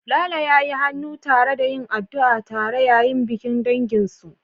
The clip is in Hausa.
Lalo ya yi hannu tare da yin addu'a tare yayin bikin danginsu